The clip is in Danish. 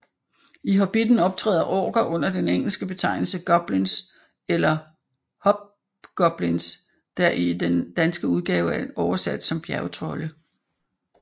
I Hobitten optræder orker under den engelske betegnelse goblins eller hobgoblins der i den danske udgave er oversat som bjergtrolde